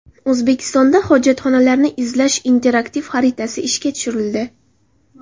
O‘zbekistonda hojatxonalarni izlash interaktiv xaritasi ishga tushirildi.